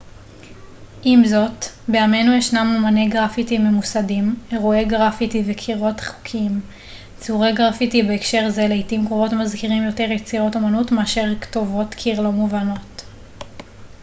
עם זאת בימינו ישנם אמני גרפיטי ממוסדים אירועי גרפיטי וקירות חוקיים ציורי גרפיטי בהקשר זה לעיתים קרובות מזכירים יותר יצירות אמנות מאשר כתובות קיר לא מובנות